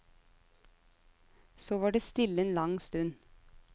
Så var det stille en lang stund.